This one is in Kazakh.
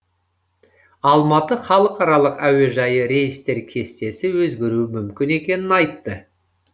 алматы халықаралық әуежайы рейстер кестесі өзгеруі мүмкін екенін айтты